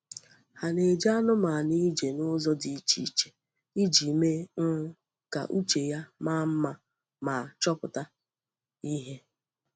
Ha na-eje anụmanụ ije n ụzọ dị iche iche iji mee um ka uche ya maa mma ma chọpụta ihe.